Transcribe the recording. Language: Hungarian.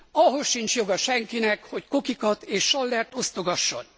Ahhoz sincs joga senkinek, hogy kokikat és sallert osztogasson.